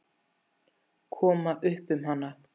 Koma upp um hana?